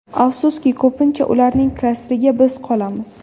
Afsuski, ko‘pincha ularning kasriga biz qolamiz.